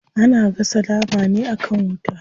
Ana gasa nama ne akan wuta.